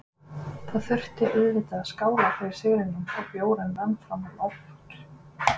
Það þurfti auðvitað að skála fyrir sigrinum og bjórinn rann fram á nótt.